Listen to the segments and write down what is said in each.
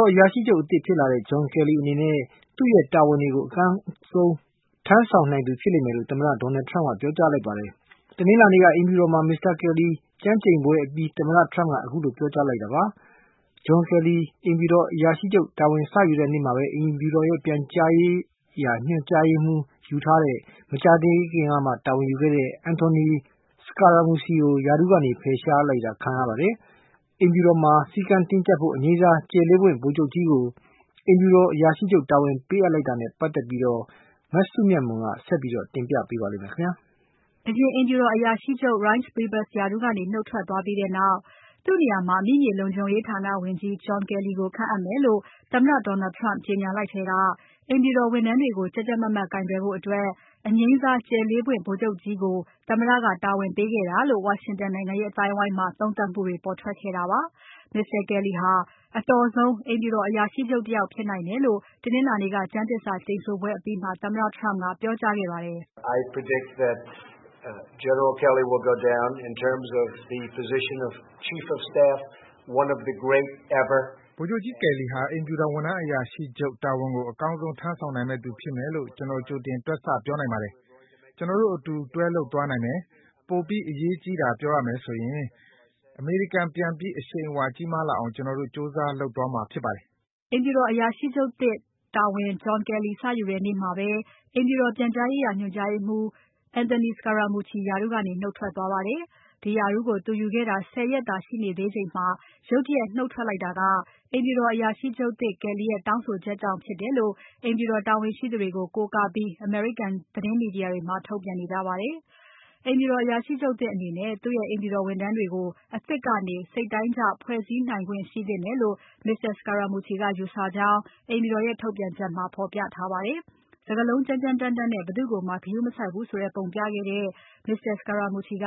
ော်အရာရှိချုပ်အသစ်ဖြစ်လာတဲ့ John Kelly အနေနဲ့ သူ့ရဲ့တာဝန်တွေကို အကောင်းဆုံးထမ်းဆောင်နိုင်သူဖြစ်မယ်လို့ သမ္မတ Donald Trump ကပြောကြားခဲ့ပါတယ်။ တနင်္လာနေ့က အိမ်ဖြူတော်မှာ Mr. Kelly ကျမ်းကျိန်ပွဲအပြီးသမ္မတ Trump ကခုလိုပြောကြားခဲ့တာပါ။ John Kelly အိမ်ဖြူတော် အရာရှိချုပ်တာဝန် စယူတဲ့နေ့မှာပဲ အိမ်ဖြူတော်ပြန်ကြားရေးရာ ညွှန်ကြားရေးမှူး ယူထားတာ မကြာသေးတဲ့ Anthony Scaramucci ရာထူးကနေ ဖယ်ရှား ခံလိုက်ရပါတယ်။ အိမ်ဖြုတော်မှာ စည်းကမ်း တင်းကျပ်ဖို့ အငြိမ်းစားကြယ် ၄ ပွင့် ဗိုလ်ချုပ်ကြီးကို အိမ်ဖြူတော်အရာရှိချုပ်တာဝန် ပေးလိုက်တာကို မြင်နေကြတဲ့အကြောင်း မစုမြတ်မွန်က ဆက်ပြီးတင်ပြပါမယ်။ အရင်အိမ်ဖြူတော်အရာရှိချုပ် Reince Priebus ရာထူးကနေနုတ်ထွက်သွားပြီးနောက် သူ့နေရာမှာ အမိမြေလုံခြုံရေးဌာနဝန်ကြီး John Kelly ကို ခန့်အပ်မယ်လို့ သမ္မတ Donald Trump ကကြေညာလိုက်ထဲက အိမ်ဖြူတော်ဝန်ထမ်းတွေကို ကြပ်ကြပ်မတ်မတ် ကိုင်တွယ်ဖို့ အငြိမ်းစား ကြယ် ၄ ပွင့် ဗိုလ်ချုပ်ကြီးကို သမ္မတ Trump က ရွေးချယ်ခဲ့တာလို့ ဝါရှင်တန်နိုင်ငံရေး အသိုင်းအဝိုင်းမှာ သုံးသပ်မှုတွေပေါ်ထွက်ခဲ့တာပါ။ Mr. Kelly ဟာအတော်ဆုံး အိမ်ဖြူတော်အရာရှိချုပ် တယောက်ဖြစ်နိုင်တယ်လို့ တနင်္လာနေ့က ကျမ်းသစ္စာကျိန်ဆိုပွဲအပြီးမှာ သမ္မတ Trump က ပြောကြားခဲ့ပါတယ်။ “ဗိုလ်ချုပ်ကြီး Kelly ဟာအိမ်ဖြူတော်ဝန်ထမ်းအရာရှိချုပ်တာဝန်ကို အကောင်းဆုံး ထမ်းဆောင်နိုင်မယ့်သူဖြစ်မယ်လို့ ကျွန်တော်ကြိုတင်တွက်ဆ ပြောနိုင်ပါတယ်။ ကျွန်တော်တို့အတူတွဲလုပ်သွားနိုင်မယ်။ ပိုပြီးအရေးကြီးတာပြောရမယ်ဆိုရင် အမေရိကန်ပြန်ပြီး အရှိန်အဝါကြီးမားလာအောင် ကျွန်တော်တို့ ကြိုးစား လုပ်သွားမှာဖြစ်ပါတယ်။” အိမ်ဖြူတော်အရာရှိချုပ်သစ် John Kelly တာဝန်စယူတဲ့နေ့မှာပဲ အိမ်ဖြူတော်ပြန်ကြားရေးရာ ညွှန်ကြားရေးမှူး Anthony Scaramucci ရာထူးကနေ နုတ်ထွက်သွားပါတယ်။ ဒီရာထူးကို Anthony Scaramucci ယူခဲ့တာ ၁၀ ရက်သာရှိသေးချိန်မှာ ရုတ်တရက် နုတ်ထွက်လိုက်တာက အိမ်ဖြူတော်အရာရှိချုပ်သစ် Kelly ရဲ့ တောင်းဆိုချက်ကြောင့်ဖြစ်တယ်လို့ အိမ်ဖြူတော် တာဝန်ရှိသူတွေ ကို ကိုးကားပြီးအမေရိကန် သတင်းမီဒီယာတွေမှာ ထုတ်ပြန်နေကြပါတယ်။ အိမ်ဖြူတော်အရာရှိချုပ်သစ်အနေနဲ့ သူ့ရဲ့အိမ်ဖြူတော်ဝန်ထမ်းတွေကို အသစ်ကနေ စိတ်တိုင်းကျဖွဲ့စည်းခွင့် ရှိသင့်တယ်လို့ Mr. Scaramucci ကယူဆကြောင်း အိမ်ဖြူတော်ရဲ့ထုတ်ပြန်ချက်မှာ ဖော်ပြထားပါတယ်။ စကားလုံးကြမ်းကြမ်းတမ်းတမ်းနဲ့ ဘယ်သူ့ကိုမှ ဂရုမစိုက်ဘူးဆိုတဲ့ပုံပြခဲ့တဲ့ Mr. Scaramucci က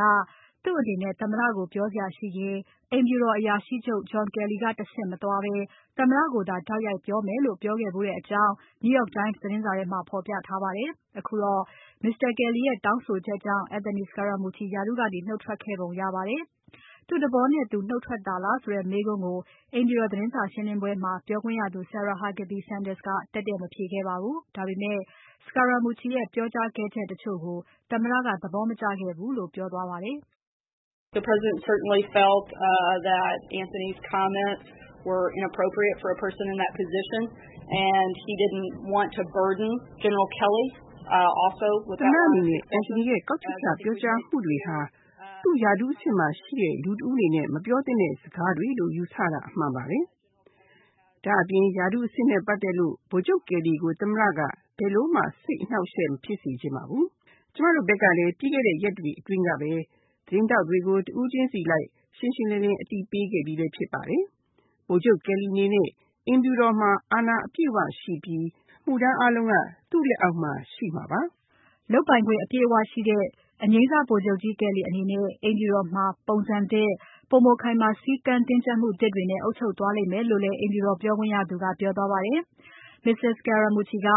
သူ့အနေနဲ့ သမ္မတကို ပြောစရာရှိရင် အိမ်ဖြူတော်အရာရှိချုပ် John Kelly ကတဆင့်မသွားဘဲ သမ္မတကိုသာတိုက်ရိုက်ပြောမယ်လို့ ပြောခဲ့ဖူးတယ်လို့ New York Times သတင်းစာထဲမှာဖော်ပြထားပါတယ်။ အခုတော့ Mr. Kelly ရဲ့တောင်းဆိုချက်ကြောင့် Anthony Scaramucci ရာထူးကနေ နုတ်ထွက်ခဲ့ရပုံရပါတယ်။ Mr. Scaramucci သူ့သဘောနဲ့သူ နုတ်ထွက်တာလားဆိုတဲ့ မေးခွန်းက အိမ်ဖြူတော်သတင်းစာရှင်းပွဲမှာ ပြောခွင့်ရသူ Sarah Huckabee Sanders ကတည့်တည့်မဖြေခဲ့ပါဘူး။ ဒါပေမယ့် Scaramucci ရဲ့ပြောကြားခဲ့ချက်တချို့ကို သမ္မတက သဘောမကျခဲ့ဘူးလို့ ပြောကြား သွားပါတယ်။ “သမ္မတအနေနဲ့ Anthony ရဲ့ကောက်ချက်ချပြောကြားမှုတွေဟာ သူ့ရဲ့အဆင့်မှာရှိတဲ့ လူတယောက်အနေနဲ့ မပြောသင့်တဲ့စကားတွေလို့ယူဆတာအမှန်ပါပဲ။ ဒါ့အပြင်ရာထူးအဆင့်နဲ့ ပတ်သက်လို့ ဗိုလ်ချုပ် Kelly ကိုသမ္မတက ဘယ်လိုမှ စိတ်အနှောက်အယှက်မဖြစ်စေချင်ပါဘူး။ ကျမတို့ဘက်ကလည်း ပြီးခဲ့တဲ့ရက်တွေအတွင်းကပဲ သတင်းထောက်တွေကို တဦးချင်းစီအလိုက် ရှင်းရှင်းလင်းလင်းလည်း အသိပေးခဲ့ပြီးဖြစ်ပါတယ်။ ဗိုလ်ချုပ် Kellyအနေနဲ့ အိမ်ဖြူတော်မှာ အာဏာအပြည့်အဝရှိပြီး အမှုထမ်းအားလုံးက သူ့လက်အောက်မှာရှိမှာပါ။” လုပ်ပိုင်ခွင့် အပြည့်အဝရှိတဲ့ အငြိမ်းစား ဗိုလ်ချုပ်ကြီး Kelly အနေနဲ့ အိမ်ဖြူတော်မှာ ပုံစံသစ် ပိုမိုခိုင်မာ စည်းကမ်းတင်းကြပ်မှုသစ်တွေနဲ့ အုပ်ချုပ်သွားမယ်လို့လည်း အိမ်ဖြူတော်ပြောခွင့်ရသူက ပြောသွားပါတယ်။ Mr. Scaramucci က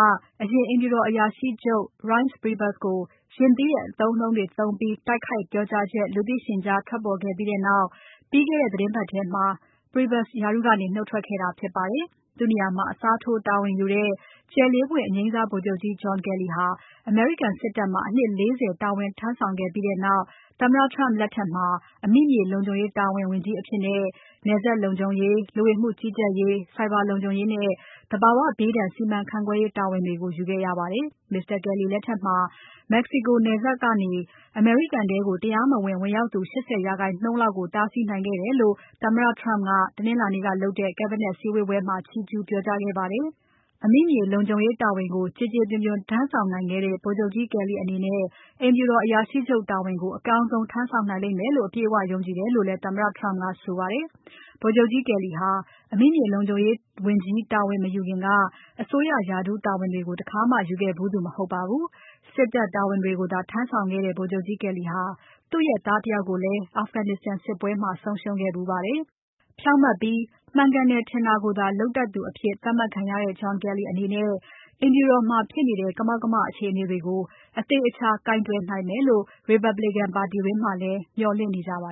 အရင်အိမ်ဖြူတော်အရာရှိချုပ် Reince Priebus ကို ရင့်သီးတဲ့ အသုံးအနှုန်းတွေသုံးပြီး တိုက်ခိုက်ပြောကြားချက် လူသိရှင်ကြားထွက်ပေါ်ခဲ့ပြီးနောက် ပြီးခဲ့တဲ့ သီတင်းပတ်ထဲမှာပဲ Priebus ရာထူးကနေ နုတ်ထွက်ခဲ့တာဖြစ်ပါတယ်။ သူ့နေရာမှာ အစားထိုးတာဝန်ယူတဲ့ ကြယ် ၄ ပွင့် အငြိမ်းစား ဗိုလ်ချုပ်ကြီး John Kelly ဟာ အမေရိကန်စစ်တပ်မှာ အနှစ် ၄၀ တာဝန်ထမ်းခဲ့ပြီးနောက် သမ္မတ Trump လက်ထက်မှာ အမိမြေလုံခြုံရေးဌာနဝန်ကြီးအဖြစ် နယ်စပ်လုံခြုံရေး၊ လူဝင်မှုကြီးကြပ်ရေး၊ ဆိုင်ဘာလုံခြုံရေးနဲ့ သဘာဝဘေးဒဏ် စီမံခန့်ခွဲရေး တာဝန်တွေကို ယူခဲ့ရပါတယ်။ Mr. Kelly လက်ထက်မှာ Mexico နယ်စပ်ကနေ အမေရိကန်ထဲ တရားမဝင် ဝင်ရောက်သူ ၈၀% လောက်ကို တားဆီးနိုင်ခဲ့တယ်လို့ သမ္မတ Trump ကတနင်္လာနေ့ကလုပ်ခဲ့တဲ့ Cabinet စည်းဝေးပွဲမှာ ချီးကျူးပြောကြားခဲ့ပါတယ်။ အမိမြေလုံခြုံရေး ဝန်ကြီးတာဝန်ကို ကျေကျပွန်ပွန်ထမ်းနိုင်ခဲ့တဲ့ ဗိုလ်ချုပ်ကြီး Kelly အနေနဲ့ အိမ်ဖြူတော်အရာရှိချုပ်တာဝန်ကို အကောင်းဆုံးထမ်းဆောင်နိုင်မယ်လို့ အပြည့်အဝ ယုံကြည်တယ်လို့လည်း သမ္မတ Trump ကဆိုပါတယ်။ ဗိုလ်ချုပ်ကြီး Kelly ဟာ အမိမြေလုံခြုံရေးဝန်ကြီးတာဝန်မယူခင်က အစိုးရရာထူးတာဝန်တွေကို တခါမှယူခဲ့ဖူးသူ မဟုတ်ပါဘူး။ စစ်တပ်တာဝန်တွေကိုသာ ထမ်းဆောင်ခဲ့တဲ့ ဗိုလ်ချုပ်ကြီး Kelly ဟာ သူ့ရဲ့သားတယောက်ကိုလည်း Afghanistan စစ်ပွဲမှာ ဆုံးရှုံးခဲ့ဖူးပါတယ်။ ဖြောင့်မတ်ပြီး မှန်တယ်ထင်တာကိုသာ လုပ်တတ်သူ အဖြစ်သတ်မှတ်ခံရတဲ့ John Kelly အနေနဲ့ အိမ်ဖြူတော်မှာဖြစ်နေတဲ့ ကမောက်ကမ အခြေအနေတွေကို အသေအချာကိုင်တွယ်နိုင်မယ်လို့ Republican ပါတီတွင်းမှာလည်း မျှော်လင့်နေကြပါ